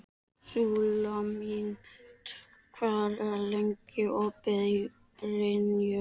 Súlamít, hvað er lengi opið í Brynju?